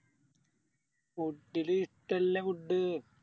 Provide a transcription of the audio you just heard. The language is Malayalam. Food ല് ഇഷ്ടള്ള Food